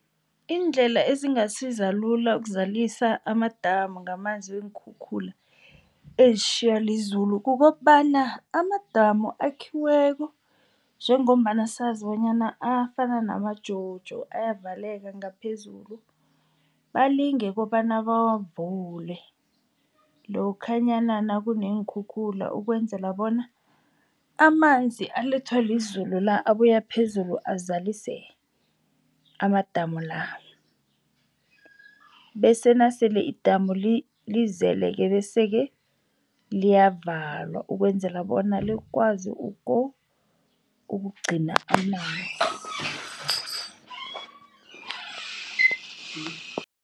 Iindlela ezingasiza lula ukuzalisa amadamu ngamanzi weenkhukhula ezitjhiywa lizulu kukobana amadamu akhiweko njengombana sazi bonyana afana nama-jojo ayavaleka ngaphezulu, balinge kobana bawavule lokhanyana nakuneenkhukhula ukwenzela bona amanzi alethwa lizulu la abuya phezulu azalise amadamu la. Bese nasele idamu lizele-ke bese-ke liyavalwa ukwenzela bona likwazi ukugcina amanzi.